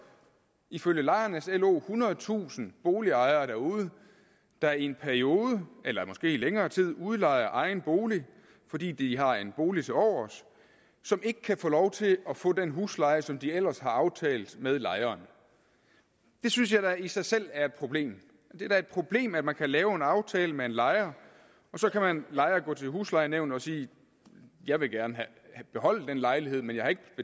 ifølge lejernes lo ethundredetusind boligejere derude der i en periode eller måske i længere tid udlejer egen bolig fordi de har en bolig tilovers som ikke kan få lov til at få den husleje som de ellers har aftalt med lejeren det synes jeg da i sig selv er et problem det er da et problem at man kan lave en aftale med en lejer og så kan lejer gå til huslejenævn og sige jeg vil gerne beholde den lejlighed men jeg har ikke